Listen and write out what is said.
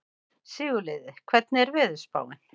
Sigurliði, hvernig er veðurspáin?